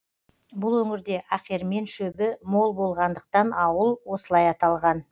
бұл өңірде ақермен шөбі мол болғандықтан ауыл осылай аталған